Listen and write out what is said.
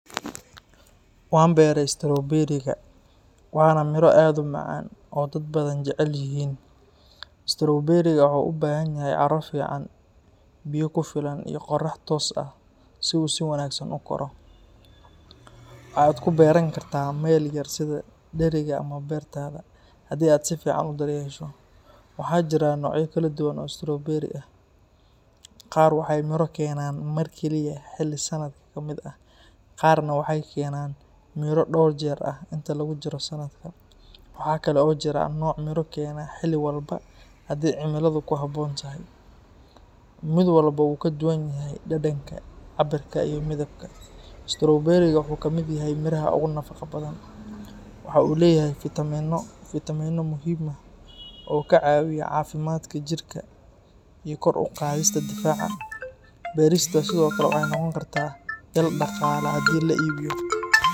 Waan beeray stowberiga, waana miro aad u macaan oo dad badan jecel yihiin. Stowberiga waxa uu u baahan yahay carro fiican, biyo ku filan, iyo qorax toos ah si uu si wanaagsan u koro. Waxa aad ku beeran kartaa meel yar sida dheriga ama beertaada, haddii aad si fiican u daryeesho. Waxaa jira noocyo kala duwan oo stowberi ah. Qaar waxay miro keenaan mar keliya xilli sanadka ka mid ah, qaarna waxay keenaan miro dhowr jeer ah inta lagu jiro sanadka. Waxa kale oo jira nooc miro keena xilli walba haddii cimiladu ku habboon tahay. Mid walba wuu ka duwan yahay dhadhanka, cabbirka iyo midabka. Stowberiga wuxuu ka mid yahay miraha ugu nafaqo badan. Waxa uu leeyahay fitamiinno muhiim ah oo caawiya caafimaadka jidhka iyo kor u qaadista difaaca. Beertiisa sidoo kale waxay noqon kartaa ilo dhaqaale haddii la iibiyo.